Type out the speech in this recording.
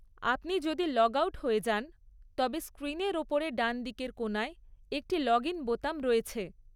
আপনি যদি log out হয়ে যান তবে স্ক্রিনের ওপরে ডানদিকের কোণায় একটি লগইন বোতাম রয়েছে।